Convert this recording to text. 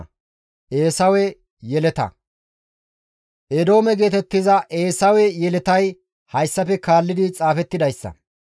Eedoome geetettiza Eesawe yeletay hayssafe kaalli xaafettidayssa.